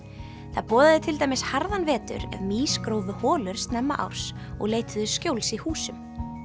það boðaði til dæmis harðan vetur ef mýs grófu holur snemma árs og leituðu skjóls í húsum